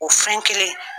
O fɛn kelen